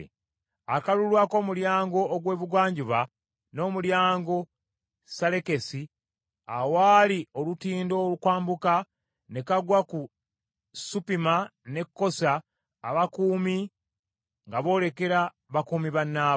Akalulu ak’Omulyango ogw’Ebugwanjuba n’Omulyango Salekesi awaali olutindo okwambuka, ne kagwa ku Suppima ne Kosa. Abakuumi baali boolekera bakuumi bannaabwe.